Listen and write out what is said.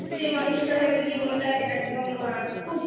সে মানুষটার হয়তো জীবন টা একদম খুব